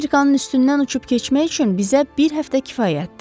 Afrikanın üstündən uçub keçmək üçün bizə bir həftə kifayətdir.